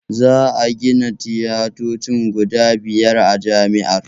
Za a gina tiyatoci guda biyar a jami'ar